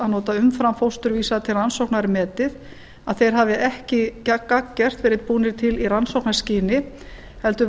að nota umframfósturvísa til rannsóknar er metið að þeir hafi ekki gagngert verið búnir til í rannsóknarskyni heldur